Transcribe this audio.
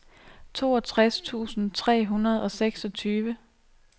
toogtres tusind tre hundrede og seksogtyve